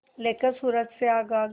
लेकर सूरज से आग आग